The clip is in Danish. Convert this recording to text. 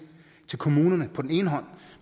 til kommunerne på den ene hånd